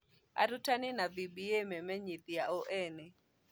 Arutani na VBA memenyithania o ene.